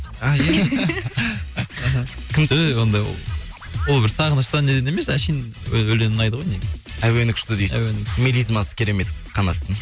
өй ондай ол ол бір сағыныштан деген емес әшейін өлең ұнайды ғой негізі әуені күшті дейсіз әуені мелизмасы керемет канаттың